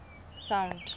sound